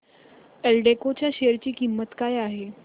एल्डेको च्या शेअर ची किंमत काय आहे